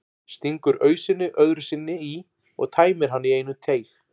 Stingur ausunni öðru sinni í og tæmir hana í einum teyg.